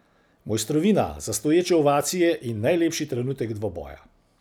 Mosjtrovina za stoječe ovacije in najlepši trenutek dvoboja.